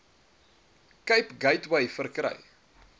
cape gateway verkry